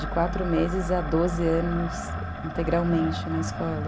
De quatro meses a doze anos integralmente na escola.